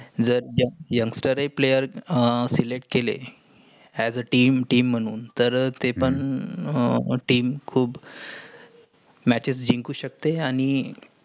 जर youngster हे player select केले. as a team team म्हणून तर तेपन पण team म्हणून खूप matches जिंकुन शकते. आणि